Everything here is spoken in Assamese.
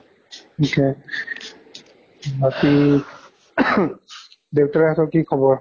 ঠিকে বাকী ing দেউতাৰে হঁতৰ কি খবৰ?